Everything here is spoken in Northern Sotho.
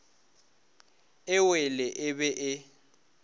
e wele e be e